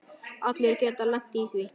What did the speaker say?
Allir geta lent í því.